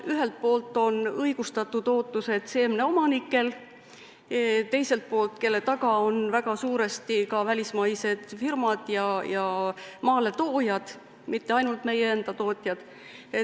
Ühelt poolt on õigustatud ootused seemneomanikel, kelle taga on väga suuresti ka välismaised firmad ja maaletoojad, mitte ainult meie enda tootjad.